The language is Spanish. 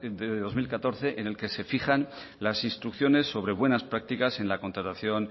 de dos mil catorce en que se fijan las instrucciones sobre buenas prácticas en la contratación